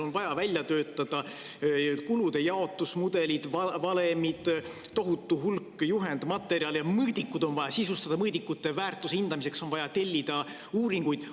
On vaja välja töötada kulude jaotusmudelid, valemid ja tohutu hulk juhendmaterjale ning on vaja sisustada mõõdikud, mille väärtushindamiseks on vaja tellida uuringuid.